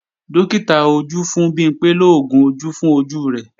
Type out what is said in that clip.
Dókítà ojú fún Bimpé lóògùn ojú fún ojú rẹ̀